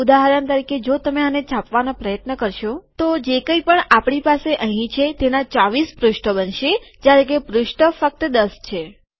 ઉદાહરણ તરીકે જો તમે આને છાપવાનો પ્રયત્ન કરશો તો જે કઈ પણ આપણી પાસે અહીં છે તેના ૨૪ પુષ્ઠો બનશે જયારે કે પુષ્ઠો ફક્ત ૧૦ છે